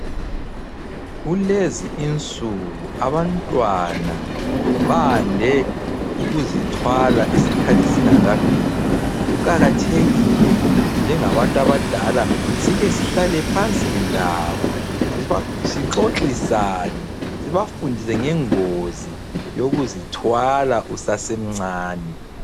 Kulezi insuku abantwana bande ukuzithwala isikhathi singakafiki, kuqakathekile ukuthi njengabantu abadala sike sihlale phansi labo, sixoxisane, sibafundise ngengozi yokuzithwala usasemncane.